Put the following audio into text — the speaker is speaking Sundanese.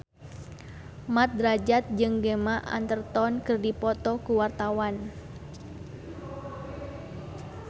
Mat Drajat jeung Gemma Arterton keur dipoto ku wartawan